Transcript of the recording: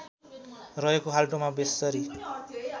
रहेको खाल्टोमा बेस्सरी